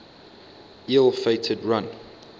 ill fated run